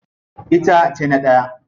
Ita tayi na daya.